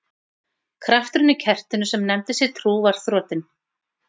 Krafturinn í kertinu sem nefndi sig trú var þrotinn.